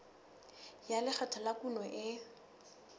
ya lekgetho la kuno e